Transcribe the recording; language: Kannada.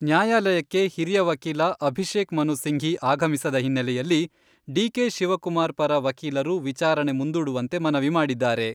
ನ್ಯಾಯಾಲಯಕ್ಕೆ ಹಿರಿಯ ವಕೀಲ ಅಭಿಷೇಕ್ ಮನು ಸಿಂಘಿ ಆಗಮಿಸದ ಹಿನ್ನಲೆಯಲ್ಲಿ ಡಿ.ಕೆ. ಶಿವಕುಮಾರ್ ಪರ ವಕೀಲರು ವಿಚಾರಣೆ ಮುಂದೂಡುವಂತೆ ಮನವಿ ಮಾಡಿದ್ದಾರೆ.